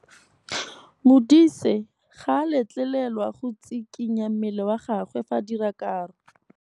Modise ga a letlelelwa go tshikinya mmele wa gagwe fa ba dira karô.